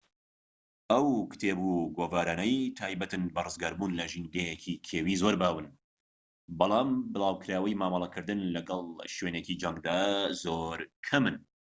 ئەو کتێب و گۆڤارانەی تایبەتن بە ڕزگاربوون لە ژینگەیەکی کێوی زۆر باون بەڵام بڵاوکراوەی مامەڵەکردن لەگەل شوێنێکی جەنگدا زۆر کەمن